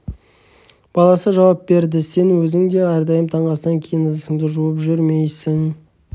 баласы жауап берді сен өзің де әрдайым таңғы астан кейін ыдысыңды жуып жүрмейсің